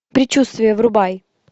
предчувствие врубай